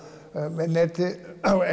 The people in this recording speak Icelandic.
með neti